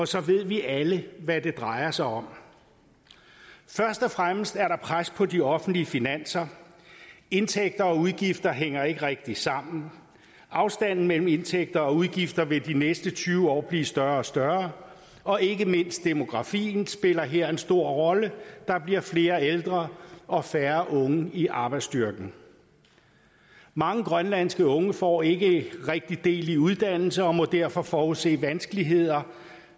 så ved vi alle hvad det drejer sig om først og fremmest er der pres på de offentlige finanser indtægter og udgifter hænger ikke rigtig sammen afstanden mellem indtægter og udgifter vil de næste tyve år blive større og større og ikke mindst demografien spiller her en stor rolle der bliver flere ældre og færre unge i arbejdsstyrken mange grønlandske unge får ikke rigtig del i uddannelse og må derfor forudse vanskeligheder